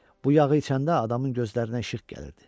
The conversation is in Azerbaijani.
Bu yağı içəndə adamın gözlərinə işıq gəlirdi.